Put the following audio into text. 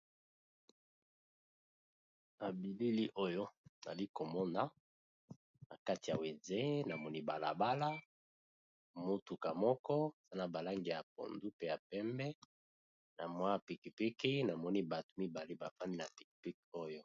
Na bilili oyo nali komona na kati ya wenze namoni bala bala, motuka moko za na ba langi ya pondu pe ya pembe na mwa piki piki na moni batu mibale bafandi na piki piki oyo.